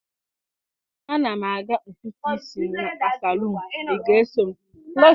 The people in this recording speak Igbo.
A na m aga ntutu isi m na salon, ị ga-eso m?